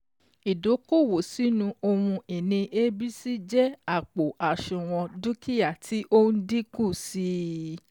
Ídókòwó sínu ohun ìní ABC jẹ́ àpò àṣùwọ̀n dúkìá tí ó n dínkù sí i.